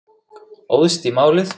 Óðst í málið.